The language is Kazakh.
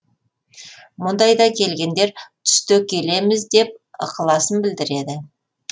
мұндайда келгендер түсте келеміз деп ықыласын білдіреді